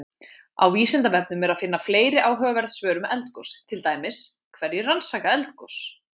Á Vísindavefnum er að finna fleiri áhugaverð svör um eldgos, til dæmis: Hverjir rannsaka eldgos?